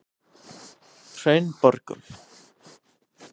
Hraunborgum